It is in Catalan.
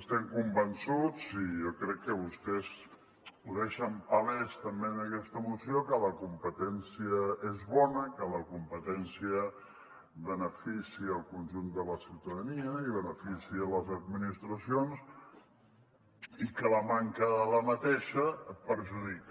estem convençuts i jo crec que vostès ho deixen palès també en aquesta moció que la competència és bona que la competència beneficia el conjunt de la ciutadania i beneficia les administracions i que la manca d’aquesta la perjudica